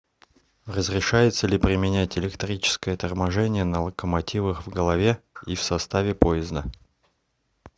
разрешается ли применять электрическое торможение на локомотивах в голове и в составе поезда